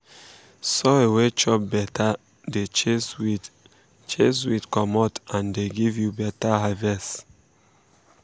soil wey chop better dey chase weed chase weed comot and dey give you better harvest.